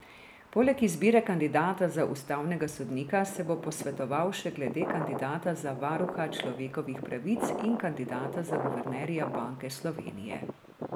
Poleg izbire kandidata za ustavnega sodnika se bo posvetoval še glede kandidata za varuha človekovih pravic in kandidata za guvernerja Banke Slovenije.